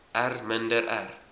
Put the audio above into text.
r minder r